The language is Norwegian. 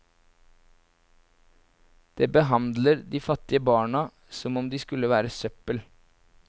Det behandler de fattige barna som om de skulle være søppel.